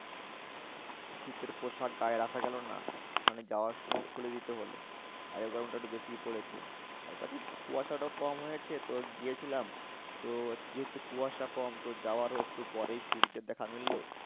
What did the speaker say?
শীতের পোশাক গায়ে রাখা গেলো না। ওখানে যাওয়ার সময় খুলে দিতে হল। আজকে গরমটা একটু বেশিই পড়েছে। তার পাশে কুয়াশাটাও কম হয়েছে তো গিয়েছিলাম তো যেহেতু কুয়াশা কম তো যাওয়ারও একটু পরেই সূর্যের দেখা মিললো